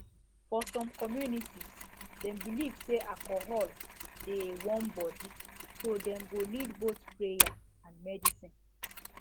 for some communities dem believe say alcohol dey warm body so dem go need both prayer and medicine